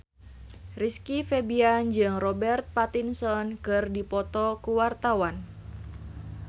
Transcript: Rizky Febian jeung Robert Pattinson keur dipoto ku wartawan